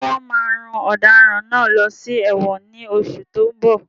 Ṣé wọn máa rán ọ̀daràn náà lọ sí ẹ̀wọ̀n ní oṣù tó ń bọ̀?